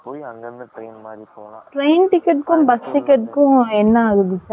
Train ticket க்கும், bus ticket க்கும், என்ன ஆகுது, charge ?